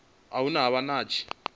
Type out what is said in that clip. hune ha vha na hatsi